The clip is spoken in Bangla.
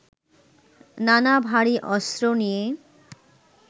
নানা ভারী অস্ত্র নিয়ে